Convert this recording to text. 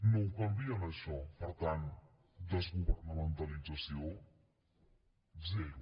no ho canvien això per tant desgovernamentalització zero